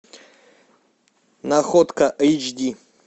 находка эйч ди